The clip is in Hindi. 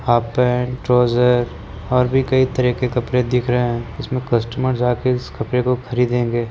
हाफ पेन्ट ट्रॉउज़र और भी कई तरह के कपड़े दिख रहे है इसमे कस्टमर जा कर इस कपड़े को खरीदेगें ।